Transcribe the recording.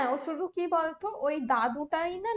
শুধু কি বলতো ওই দাদু টা না